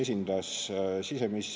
Aitäh!